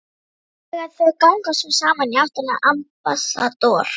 Þegar þau ganga svo saman í áttina að Ambassador